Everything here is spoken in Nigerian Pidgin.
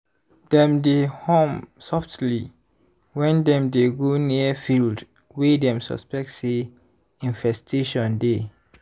dem dey hum softly when dem dey go near field wey dem suspect say infestation dey.